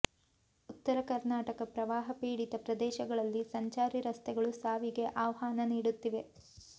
ಉತ್ತರ ಕರ್ನಾಟಕ ಪ್ರವಾಹ ಪೀಡಿತ ಪ್ರದೇಶಗಳಲ್ಲಿ ಸಂಚಾರಿ ರಸ್ತೆಗಳು ಸಾವಿಗೆ ಆಹ್ವಾನ ನೀಡುತ್ತಿವೆ